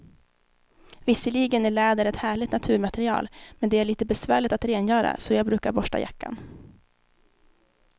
Visserligen är läder ett härligt naturmaterial, men det är lite besvärligt att rengöra, så jag brukar borsta jackan.